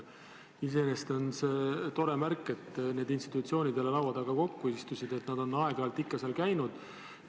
Iseenesest on see tore, et need institutsioonid jälle laua taga koos istusid, nad on aeg-ajalt ikka seal käinud.